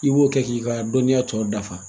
I b'o kɛ k'i ka dɔnniya tɔ dafa.